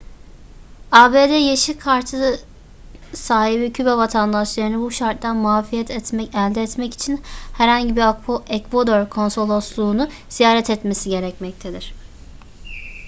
abd yeşil kartı sahibi küba vatandaşlarının bu şarttan muafiyet elde etmek için herhangi bir ekvador konsolosluğu'nu ziyaret etmesi gerekmektedir